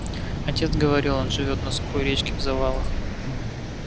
отец говорил он живёт на сухой речке в завалах